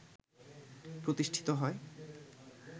প্রতিষ্ঠিত হয়